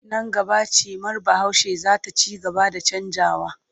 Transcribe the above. Nan gaba cimar Bahaushe za ta ci gaba da canjawa.